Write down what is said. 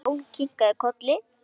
Jón kinkaði kolli.